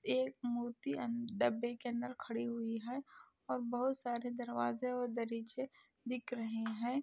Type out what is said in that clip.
एक मूर्ति डब्बे के अंदर खड़ी हुई है और बहुत सारे दरवाजे और दरीचे दिख रहे हैं।